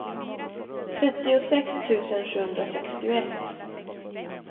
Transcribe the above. trettiosex tusen sjuhundrasextioett